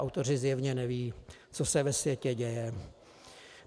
Autoři zjevně nevědí, co se ve světě děje.